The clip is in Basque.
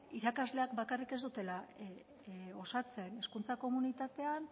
irakasleak bakarrik ez dutela osatzen hezkuntza komunitatean